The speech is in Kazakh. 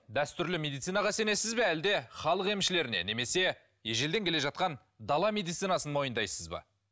дәстүрлі медицинаға сенесіз бе әлде халық емшілеріне немесе ежелден келе жатқан дала медицинасын мойындайсыз ба